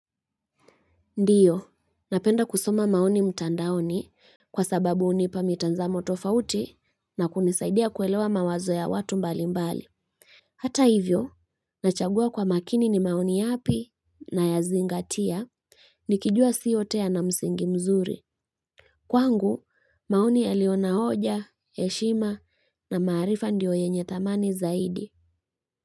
Ndio, napenda kusoma maoni mtandaoni kwa sababu hunipa mitazamo tofauti na kunisaidia kuelewa mawazo ya watu mbali mbali. Hata hivyo, nachagua kwa makini ni maoni yapi nayazingatia nikijua si yote yana msingi mzuri. Kwangu, maoni yalioyo na hoja, heshima na maarifa ndio yenye thamani zaidi.